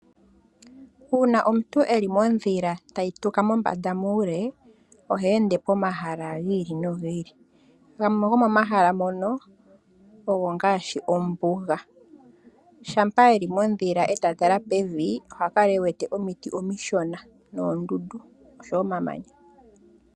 Uuna omuntu eli modhila tayi tuka mombanda mokule. Ohe ende pomahala ga yolokathana gamwe gomomahala mono ogo ngaashi ombuga. Shampa yeli modhila eta tala pevi. Oha kala ewete oomiti omiishona noondundu nosho woo omamanya.